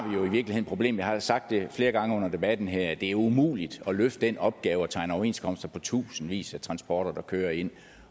vi problemet jeg har sagt det flere gange under debatten her det er umuligt at løfte den opgave at tegne overenskomster på tusindvis af transporter der kører ind